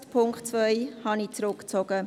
Den Punkt 2 habe ich zurückgezogen.